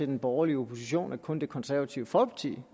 den borgerlige opposition at kun det konservative folkeparti